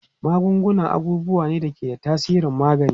Magunguna abubuwa ne da ke da tasirin magani.